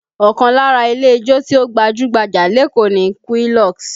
Ọkàn lára ilé ijó tí ó gbajú-gbajà lékòó ni Quilox